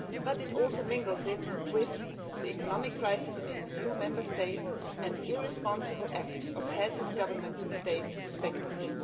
It also involves the economic crisis in the new EU Member State and irresponsible acts by heads of Government and State respectively.